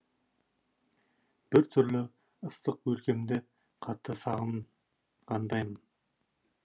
біртүрлі ыстық өлкемді қатты сағынғандаймын